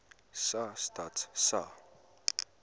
sa stats sa